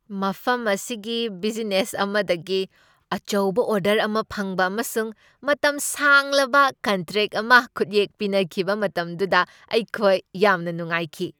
ꯃꯐꯝ ꯑꯁꯤꯒꯤ ꯕꯤꯖꯤꯅꯦꯁ ꯑꯃꯗꯒꯤ ꯑꯆꯧꯕ ꯑꯣꯔꯗꯔ ꯑꯃ ꯐꯪꯕ ꯑꯃꯁꯨꯡ ꯃꯇꯝ ꯁꯥꯡꯂꯕ ꯀꯟꯇ꯭ꯔꯦꯛ ꯑꯃ ꯈꯨꯠꯌꯦꯛ ꯄꯤꯅꯈꯤꯕ ꯃꯇꯝꯗꯨꯗ ꯑꯩꯈꯣꯏ ꯌꯥꯝꯅ ꯅꯨꯡꯉꯥꯏꯈꯤ꯫